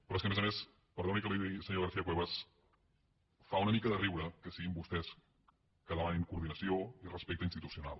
però és que a més a més perdoni que li ho digui senyora garcia cuevas fa una mica de riure que siguin vostès que demanin coordinació i respecte institucional